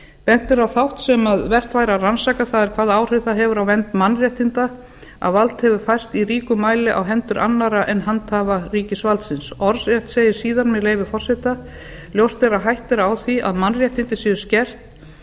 bent er á þátt sem vert væri að rannsaka það er hvaða áhrif það hefur á vernd mannréttinda að vald hefur færst í ríkum mæli á hendur annarra en handhafa ríkisvaldsins orðrétt segir síðan með leyfi forseta ljóst er að hætta á því að mannréttindi séu skert